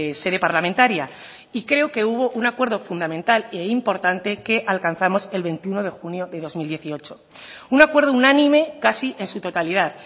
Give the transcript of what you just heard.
sede parlamentaria y creo que hubo un acuerdo fundamental e importante que alcanzamos el veintiuno de junio de dos mil dieciocho un acuerdo unánime casi en su totalidad